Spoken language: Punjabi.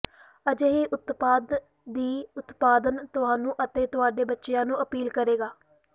ਅਜਿਹੇ ਉਤਪਾਦ ਦੀ ਉਤਪਾਦਨ ਤੁਹਾਨੂੰ ਅਤੇ ਤੁਹਾਡੇ ਬੱਚੇ ਨੂੰ ਅਪੀਲ ਕਰੇਗਾ